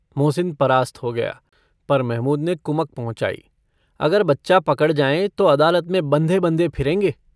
मोहसिन परास्त हो गया, पर महमूद ने कुमक पहुँचाई - अगर बच्चा पकड़ जाएँ तो अदालत में बँधे-बँधे फिरेंगे।